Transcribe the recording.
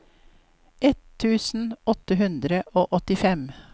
ett tusen åtte hundre og åttifem